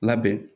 Labɛn